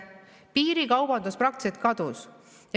Piirikaubandus praktiliselt kadus.